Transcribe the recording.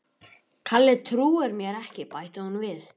Kalli trúir mér ekki bætti hún við.